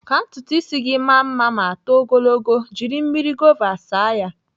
Ka ntutu ịsị gị maa mma ma too ogologo, jiri mmiri gova saa ya.